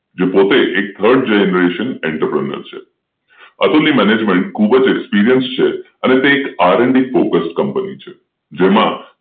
જે પોતે એક Third generation entrepreneurs છે અતુલ ની મેનેજમેન્ટ ખૂબ જ એક્સપિરિયન્સ છે અને તે RNDFocus Company છે જેમાં